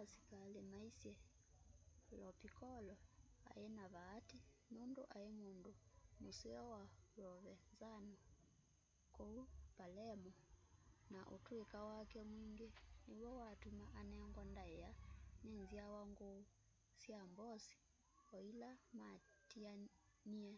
asikali maisye lo piccolo ai na vaati nundu ai mundu museo wa provenzano kuu palermo na utuika wake mwingi niw'o watuma anengwa ndaia ni nzyawa nguu sya mbosi o ila matianie